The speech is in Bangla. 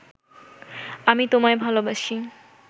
আমি তোমায় ভালবাসি